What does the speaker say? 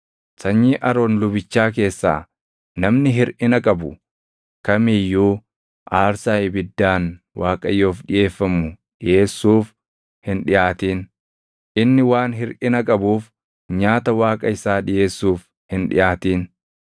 Sanyii Aroon lubichaa keessaa namni hirʼina qabu kam iyyuu aarsaa ibiddaan Waaqayyoof dhiʼeeffamu dhiʼeessuuf hin dhiʼaatin. Inni waan hirʼina qabuuf nyaata Waaqa isaa dhiʼeessuuf hin dhiʼaatin.